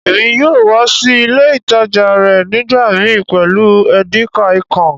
Èmi yóò wa si ilé ìtàjà rẹ nígbàmii pẹ́lu Edikaikong.